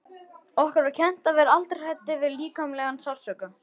Okkur var kennt að vera aldrei hræddir við líkamlegan sársauka.